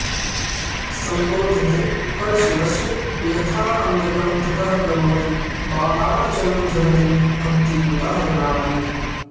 सम्बोध्यते परशिवस्य यथान्धकं ततः करोति बाणार्चनं जगति भक्तियुता जनालिः